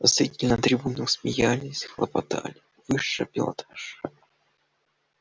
зрители на трибунах смеялись хлопотали высший пилотаж